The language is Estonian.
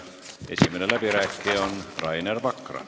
Esimene läbirääkija on Rainer Vakra.